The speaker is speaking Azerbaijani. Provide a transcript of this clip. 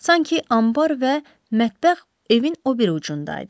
Sanki anbar və mətbəx evin o biri ucunda idi.